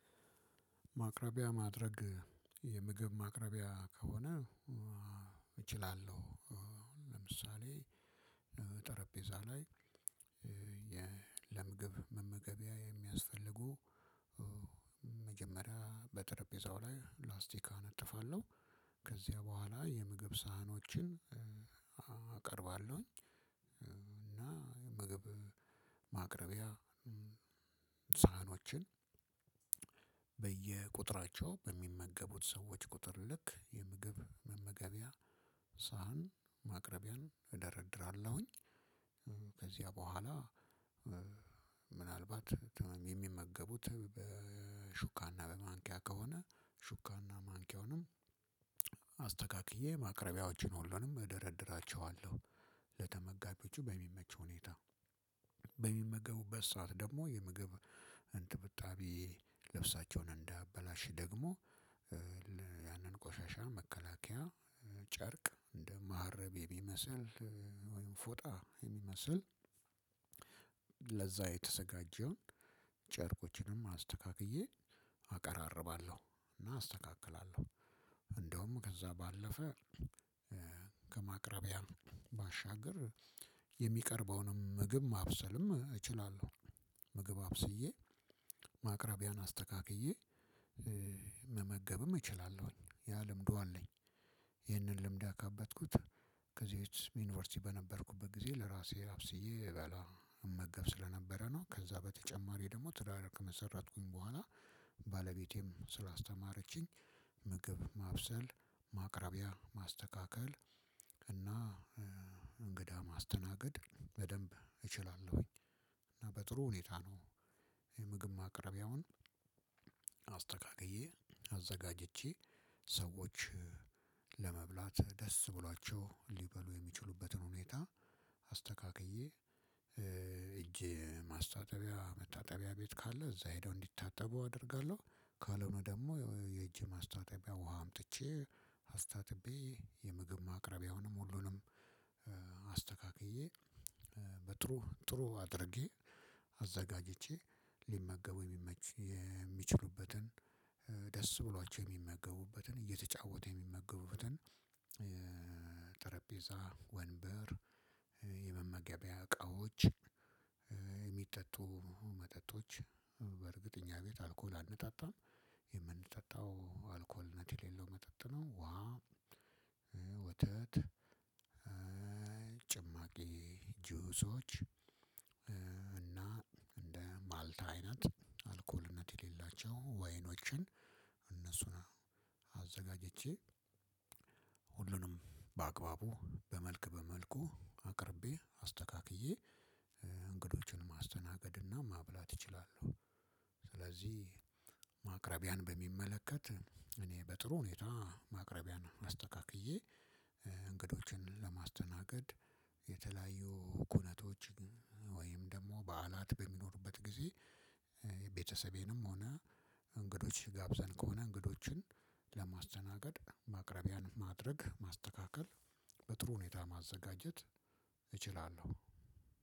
ማቅረቢያ ማድረግ የምግብ ማቅረቢያ ከሆነ እችላለሁ። ለምሳሌ ጠረጴዛ ላይ የ ለምግብ መመገቢያ የሚያስፈልጉ መጀመሪያ በጠረጴዛው ላይ ላስቲክ አነጥፋለሁ። ከዚያ በኋላ የምግብ ሳህኖችን አቀርባለሁኝ። እና ምግብ ማቅረቢያ ሳህኖችን በየቁጥራቸው በሚመገቡት ሰዎች ቁጥር ልክ የምግብ መመገቢያ ሳህን ማቅረቢያን እደረድራለሁኝ። ከዚያ በኋላ ምናልባት የሚመገቡት በሹካና በማንኪያ ከሆነ ሹካና ማንኪያውንም አስተካ ማቅረቢያዎችን ሁሉንም እደረድራቸዋለሁ። ለተመጋቢዎቹ በሚመቸው ሁኔታ በሚመገቡበት ሰዓት ደግሞ የምግብ እንጥብጣቢ ልብሳቸውን እንዳያበላሽ ደግሞ ያንን ቆሻሻ መከላከያ ጨርቅ እንደ ማህረብ የሚመስል ፎጣ የሚመስል ለዛ የተዘጋጀውን ጨርቆችንም አስተካክዬ አቀራርባለሁ እና አስተካክላለሁ። እንደውም ከዛ ባለፈ ከማቅረቢያ ባሻገር የሚቀርበውንም ምግብ ማብሰልም እችላለሁ። ምግብ አብስዬ ማቅረቢያን አስተካክዬ መመገብም እችላለሁኝ ያ ልምዱ አለኝ። ይህንን ልምድ ያካበተኩት ከዚህ በፊት ዩኒቨርሲቲ በነበርኩበት ጊዜ ለራሴ አብስዬ እበላ እመገብ ስለነበረ ነው። ከዛ በተጨማሪ ደግሞ ትዳር ከመሰረትኩኝ በኋላ ባለቤቴም ስላስተማረችኝ ምግብ ማብሰል ማቅረቢያ ማስተካከል እና እንግዳ ማስተናገድ በደንብ እችላለሁኝ። እና በጥሩ ሁኔታ ነው። የምግብ ማቅረቢያውን አስተካክዬ አዘጋጅቼ ሰዎች ለመብላት ደስ ብሏቸው ሊበሉ የሚችሉበትን ሁኔታ አስተካክዬ እጄ ማስታጠቢያ መታጠቢያ ቤት ካለ እዛ ሄደው እንዲታጠቡ አደርጋለሁ። ካልሆነ ደግሞ የእጅ ማስታጠቢያ ውሃ አምጥቼ አስታጥቤ የምግብ ማቅረቢያውንም ሁሉንም። አስተካክዬ በጥሩ ጥሩ አድርጌ አዘጋጅቼ ሊመገቡ የሚመች የሚችሉበትን ደስ ብሏቸው የሚመገቡበትን እየተጫወቱ የሚመገቡበትን ጠረጴዛ ወንበር የመመገቢያ እቃዎች የሚጠጡ መጠጦች በእርግጥ እኛ ቤት አልኮል አንጠጣም። የምንጠጣው አልኮልነት የሌለው መጠጥ ነው። ውሃ ወተት ጭማቂ ጁሶች እና እንደ ማልታ አይነት አልኮልነት የሌላቸው ወይኖችን እነሱን አዘጋጅቼ ሁሉንም በአግባቡ በመልክ በመልኩ አቅርቤ አስተካክዬ። እንግዶቹን ማስተናገድና ማብላት እችላለሁ። ስለዚህ ማቅረቢያን በሚመለከት እኔ በጥሩ ሁኔታ ማቅረቢያን አስተካክዬ። እንግዶችን ለማስተናገድ የተለያዩ ኩነቶች ወይም ደግሞ በዓላት በሚኖሩበት ጊዜ ቤተሰቤንም ሆነ እንግዶች ጋብዘን ከሆነ እንግዶችን ለማስተናገድ ማቅረቢያን ማድረግ ማስተካከል በጥሩ ሁኔታ ማዘጋጀት እችላለሁ።